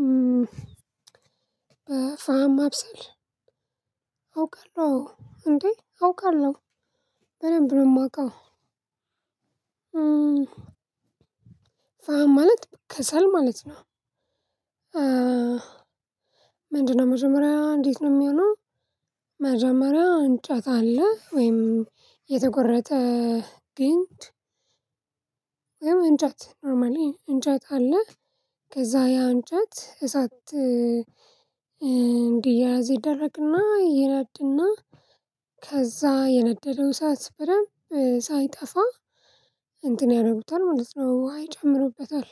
እ ፋም ማብሰል አውቃለሁ አዎ እንዴ አውቃለሁ በደንብ ነው የማውቀው። ማለት ከሰል ማለት ነው። ምንድነው መጀመሪያ እንዴት ነው የሚሆነው? መጀመሪያ እንጨት አለ ወይም የተቆረጠ ግንድ ወይም እንጨት ኖርማሊ እንጨት አለ። ከዛ ያ እንጨት እሳት እንዲያያዝ ይደረግና ይነድና ከዛ የነደደው እሳት በደንብ ሳይጠፋ እንትን ያረጉታል ማለት ነው ውሃ ይጨምሩበታል።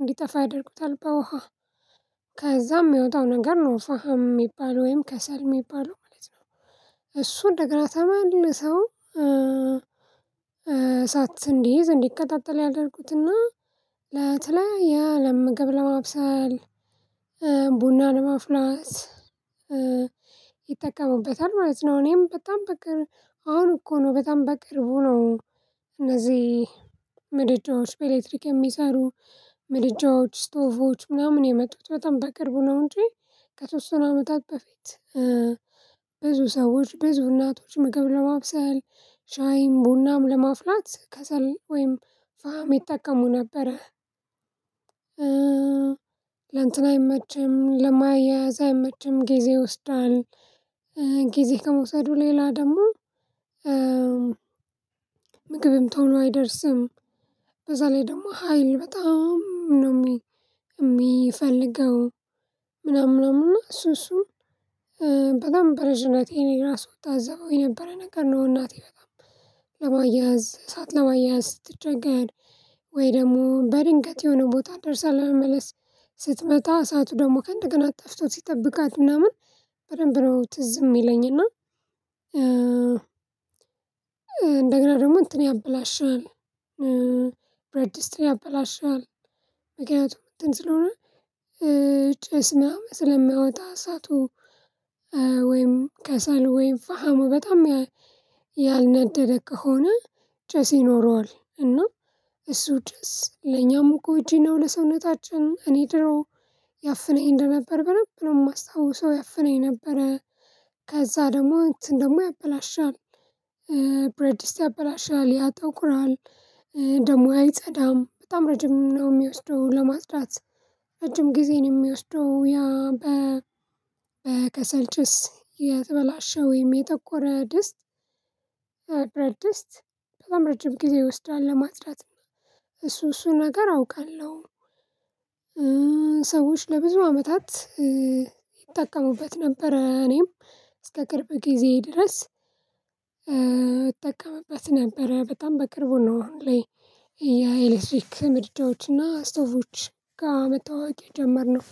እንዲጠፋ ያደርጉታል በውሃ ከዛም የሚወጣው ነገር ነው ኑፋሃም የሚባል ወይም ከሰል የሚባለው ማለት ነው። እሱን እንደገና ሰው እንዲይዝ እንዲከታተል ያደረኩትና ለተለያየ ለምግብ ለማብሰል ቡና ለማፍላት ይጠቀሙበታል ማለት ነው። እኔም በጣም በቅርብ አሁን እኮ ነው በጣም በቅርቡ ነው። እነዚህ ምድጃዎች በኤሌክትሪክ የሚሰሩ ምድጃዎች ስቶቮች ምናምን የመጡት በጣም በቅርቡ ነው እንጂ ከተወሰኑ አመታት በፊት ብዙ ሰዎች ብዙ እናቶች ምግብ ለማብሰል ሻይም ቡናም ለማፍላት ከሰል ወይም ፋም ይጠቀሙ ነበረ። ለእንትን አይመችም ለማያያዝ አይመችም ጊዜ ይወስዳል ጊዜ ከመውሰዱ ሌላ ደግሞ ምግብም ቶሎ አይደርስም። በዛ ላይ ደግሞ ሀይል በጣም ነው የሚፈልገው ምናምን ምናምን እና እሱ እሱ በጣም በልጅነቴ እኔ ራሱ እታዘበው የነበረ ነገር ነው። እናቴ በጣም ለማያያዝ እሳት ለማያያዝ ስትቸገር ወይ ደግሞ በድንገት የሆነ ቦታ ደርሳ ለመመለስ ስትመጣ እሳቱ ደግሞ ከእንደገና ጠፍቶ ሲጠብቃት ምናምን በደንብ ነው ትዝ የሚለኝ እና እንደገና ደግሞ እንትን ያበላሻል። ብረት ድስት ያበላሻል ምክንያቱም እንትን ስለሆነ ጭስ ምናምን ስለሚያወጣ እሳቱ ወይም ከሰሉ ወይም ፋሃሙ በጣም ያልነደደ ከሆነ ጭስ ይኖረዋል እና እሱ ጭስ ለኛም ጎጂ ነው። ለሰውነታችን እኔ ድሮ ያፍነኝ እንደነበር በደንብ ነው የማስታውሰው ያፍነኝ ነበረ። ከዛ ደግሞ እንትን ደግሞ ያበላሻል ብረት ድስት ያበላሻል ያጠቁራል ደግሞ አይፀዳም በጣም ረጅም ነው የሚወስደው ለማጽዳት። ረጅም ጊዜን የሚወስደው ያ በ የተበላሸ ወይም የጠቆረ ድስት በረት ድስት በጣም ረጅም ጊዜ ይወስዳል ለማጽዳት። እሱ እሱን ነገር አውቃለሁ ሰዎች ለብዙ አመታት ይጠቀሙበት ነበር። እኔም እስከ ቅርብ ጊዜ ድረስ እጠቀምበት ነበር። በጣም በቅርቡ ነው አሁን ላይ የኤሌክትሪክ ምድጃዎችና ስቶቮች ጋር መተዋወቅ የጀመርነው